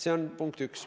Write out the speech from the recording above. See on punkt 1.